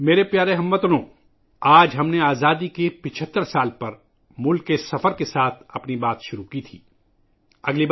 میرے پیارے ہم وطنو، آج ہم نے آزادی کے 75 سال پر اپنی گفتگو کا آغاز ملک کے دورے سے کیا